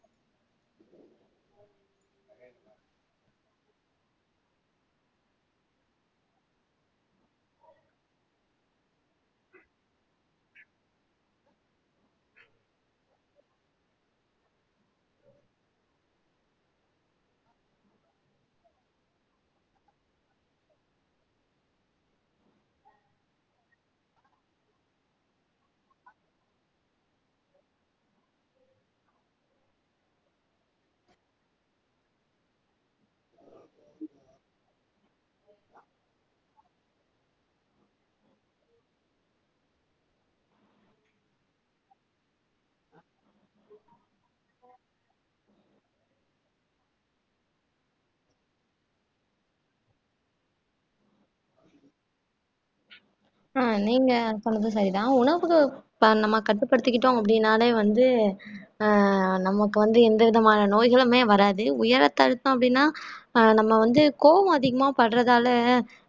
ஆஹ் நீங்க சொன்னது சரிதான் உணவு அஹ் நம்ம கட்டுப்படுத்திக்கிட்டோம் அப்படின்னாலே வந்து ஆஹ் நமக்கு வந்து எந்த விதமான நோய்களுமே வராது உயர் ரத்த அழுத்தம் அப்படின்னா அஹ் நம்ம வந்து கோபம் அதிகமா படறதால